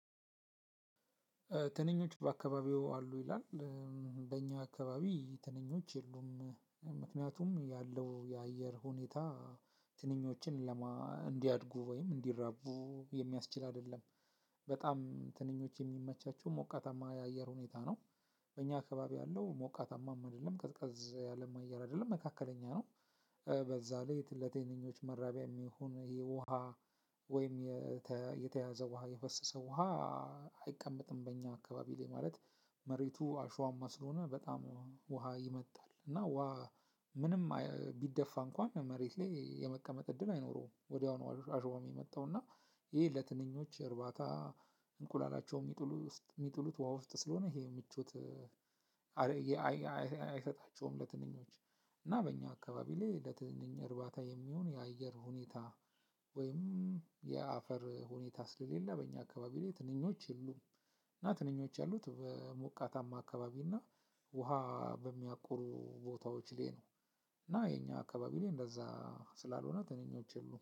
ትንኞች በአከባቢዎ አሉ ይላል? በኛ አከባቢ ትንኞች የሉም ያለው የአየር ሁኔታ ትንኞችን ለማ እንዲያድጉ ወይም እንዲራቡ የሚያስችል አይደለም። በጣም ትንኞች የሚመቻቸው ሞቃታማ የአየር ሁኔታ ነው። በእኛ አከባቢ ያለው ሞቃታማም አይደለም ቀዝቀዝ ያለም አየር አይደለም መካከለኛ ነው። በዛ ላይ ለተ ለቴንኞች መራቢያ የሚሆን ይሄ ውሃ። ወይም የተያዘ ውሃ የፈሰሰ ውሃ። አይቀመጥም በእኛ አከባቢ ላይ ማለት። መሬቱ አሸዋማ ስለሆነ በጣም ውሃ ይመጣል እና ውሃ ምንም ቢደፋ እንኳን መሬት ላይ የመቀመጥ እድል አይኖረውም። ወዲያው ነው አሸዋዉን ሚመጠዉና ይሄ ለትንኞች እርባታ። እንቁላላቸው የሚጥሉ የሚጥሉት ውሃ ውስጥ ስለሆነ ይሄ ምቾት አይሰጣቸውም። ለትንኞች እና በእኛ አካባቢ ላይ ለትንኝ እርባታ የሚሆን የአየር ሁኔታ ወይም የአፈር ሁኔታ ስለሌለ በኛ አካባቢ ላይ ትንኞች የሉም። እና ትንኞች ያሉት በሞቃታማ አካባቢ እና ውሃ በሚያቁሩ ቦታዎች ላይ ነው። እና የኛ አካባቢ ላይ እንደዛ ስላልሆነ ትንኞች የሉም